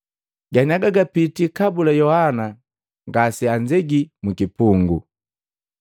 Ganiaga gapitila kabula Yohana ngaseanzegi mukipungu.